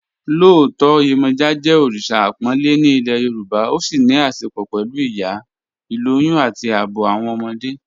Lọọtọ Yemoja jẹ́ oríṣa àpònlẹ̀ ní ilẹ̀ Yorùbá, ó sì ní àṣẹ̀pọ̀ pẹ̀lú ìyá, ilòyùn, àti ààbọ̀ awọn ọmọdé.